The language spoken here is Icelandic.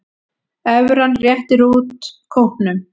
Evran réttir út kútnum